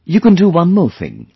You can do one more thing